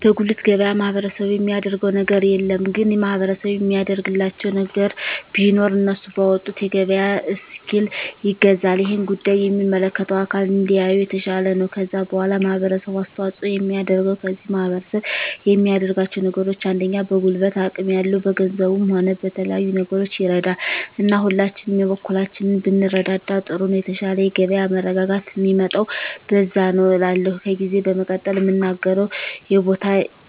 በጉልት ገበያ ማህበረሰቡ የሚያደረገው ነገር የለም ግን ማህበረሰቡ የሚያደርግላቸው ነገር ቢኖር እነሱ ባወጡት የገበያ እስኪል ይገዛል እሄን ጉዳይ የሚመለከተው አካል እንዲያየው የተሻለ ነው ከዛ በዋላ ማህበረሰቡ አስተዋጽኦ የሚያደርገው ከዚህ ማህረሰብ የሚያደርጋቸው ነገሮች አንደኛ በጉልበት አቅም ያለው በገንዘቡም ሆነ በተለያዩ ነገሮች ይረዳል እና ሁላችንም የበኩላችንን ብንረዳዳ ጥሩ ነው የተሻለ የገበያ መረጋጋት ሚመጣው በዛ ነዉ እላለሁ ከዜ በመቀጠል ምናገረው የቦታ